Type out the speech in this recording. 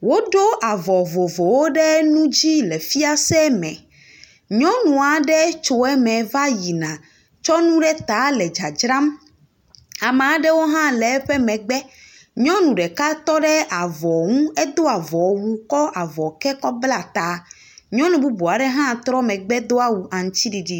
Woɖo avɔ vovovowo ɖe nu dzi le fiase me. Nyɔnu aɖe tso eme va yina tsɔ nu ɖe le dzadzram. Ame aɖewo hã le eƒe megbe. Nyɔnu ɖeka tɔ ɖe avɔ ŋu edo avɔwu, kɔ avɔ ke kɔbla ta , nyɔnu bubu aɖe hã trɔ megbe do awu aŋutiɖiɖi.